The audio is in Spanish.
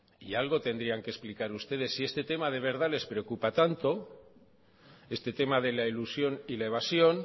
y algo tendría que explicar ustedes si este tema de verdad les preocupa tanto este tema de la elusión y la evasión